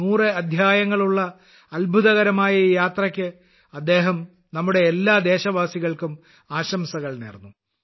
100 അദ്ധ്യായങ്ങളുള്ള ഈ അത്ഭുതകരമായ യാത്രയ്ക്ക് അദ്ദേഹം നമ്മുടെ എല്ലാ ദേശവാസികൾക്കും ആശംസകൾ നേർന്നു